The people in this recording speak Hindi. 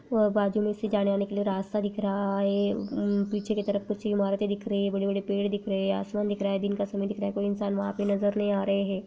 व बाजू मे से जाने आने का रास्ता दिख रहा है पीछे की तरफ कुछ इमारते दिख रही है बड़े-बड़े पेड़ दिख रहे है आसमान दिख रहा है दिन का समय दिख रहा है कोई इंसान वहां पर नजर नहीं आ रहे है।